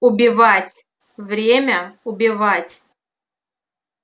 убивать время убивать